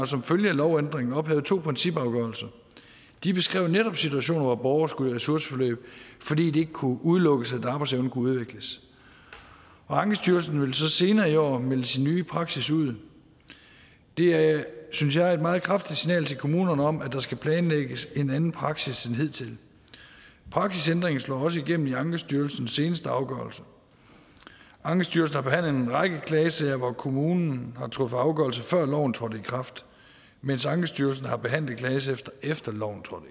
som følge af lovændringen har ophævet to principafgørelser de beskrev netop situationer hvor borgere skulle i ressourceforløb fordi det ikke kunne udelukkes at arbejdsevnen kunne udvikles ankestyrelsen ville så senere i år melde sin nye praksis ud det synes jeg er et meget kraftigt signal til kommunerne om at der skal planlægges en anden praksis end hidtil praksisændringen slår også igennem i ankestyrelsens seneste afgørelser ankestyrelsen har behandlet en række klagesager hvor kommunen har truffet afgørelse før loven trådte i kraft mens ankestyrelsen har behandlet klagesager efter loven trådte